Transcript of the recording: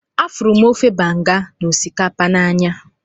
Ahụrụ m ofe banga na osikapa n'anya